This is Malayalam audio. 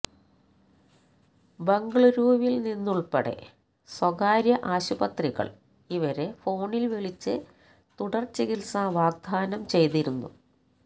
ബംഗളൂരുവില്നിന്ന് ഉള്പ്പെടെ സ്വകാര്യ ആശുപത്രികള് ഇവരെ ഫോണില് വിളിച്ച് തുടര് ചികിത്സ വാഗ്ദാനം ചെയ്തിരുന്നു